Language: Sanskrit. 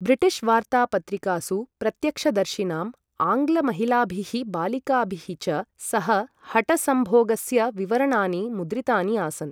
ब्रिटिश् वार्त्ता पत्रिकासु प्रत्यक्षदर्शिनां, आङ्ग्ल महिलाभिः बालिकाभिः च सह हठसंभोगस्य विवरणानि मुद्रितानि आसन्।